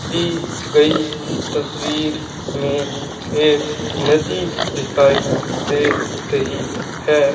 दी गई तस्वीर में एक नदी दिखाई दे रही है।